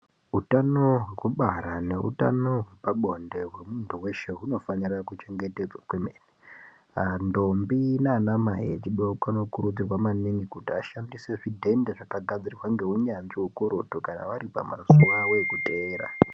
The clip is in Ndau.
Utano hwekubara neutano hwepabonde hwemuntu weshe hunofanire kuchengetedzwa kwemene. Ndombi naanamai echidoko , anokurudzirwa maningi ,kuti ashandise zvidhende zvakagadzirwa ngeunyazvi ukurutu, kana vari pamazuwa avo ekuteera.